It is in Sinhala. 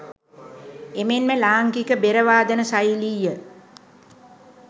එමෙන්ම ලාංකික බෙර වාදන ශෛලිය